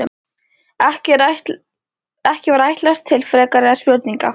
Ekki var ætlast til frekari spurninga.